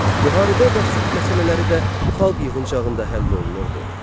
Müharibə və sülh məsələləri də xalq yığıncağında həll olunurdu.